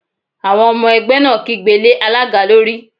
Àwọn ọmọ ẹgbẹ́ náà kígbe lé alága lórí